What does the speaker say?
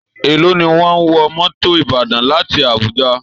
Èló ni wọ́n ń wọ mọ́tò Ìbàdàn láti Abuja?